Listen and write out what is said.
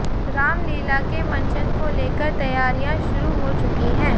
रामलीला के मंचन को लेकर तैयारियां शुरू हो चुकी हैं